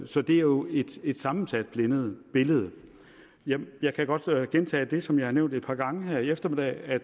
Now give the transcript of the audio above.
så det er jo et et sammensat billede billede jeg jeg kan godt gentage det som jeg har nævnt et par gange her i eftermiddag